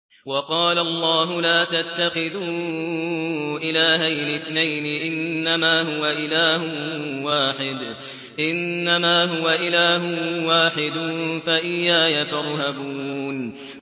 ۞ وَقَالَ اللَّهُ لَا تَتَّخِذُوا إِلَٰهَيْنِ اثْنَيْنِ ۖ إِنَّمَا هُوَ إِلَٰهٌ وَاحِدٌ ۖ فَإِيَّايَ فَارْهَبُونِ